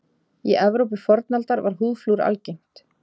Í Evrópu fornaldar var húðflúr algengt.